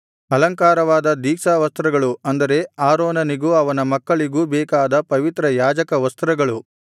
ಅಲಂಕಾರವಾದ ದೀಕ್ಷಾವಸ್ತ್ರಗಳು ಅಂದರೆ ಆರೋನನಿಗೂ ಅವನ ಮಕ್ಕಳಿಗೂ ಬೇಕಾದ ಪವಿತ್ರ ಯಾಜಕವಸ್ತ್ರಗಳು